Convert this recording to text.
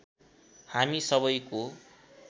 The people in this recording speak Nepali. हामी सबैको